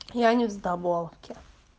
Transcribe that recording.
я не в здаболке